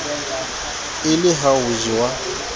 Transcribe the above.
e le ha ho jewa